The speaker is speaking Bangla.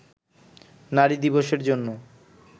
নারী দিবসের জন্য